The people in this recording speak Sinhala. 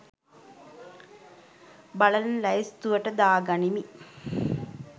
බලන ලැයිස්තුවට දාගනිමි